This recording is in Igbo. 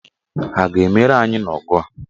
Ha a ga-emeri anyị n'ọgụ a?